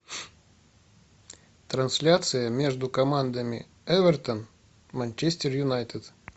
трансляция между командами эвертон манчестер юнайтед